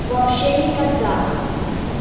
вообще никогда